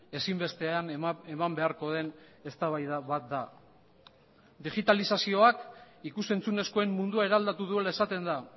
ezinbestean eman beharko den eztabaida bat da digitalizazioak ikus entzunezkoen mundua eraldatu duela esaten da